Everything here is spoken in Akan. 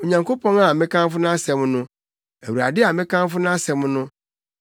Onyankopɔn a mekamfo nʼasɛm no, Awurade a mekamfo nʼasɛm no,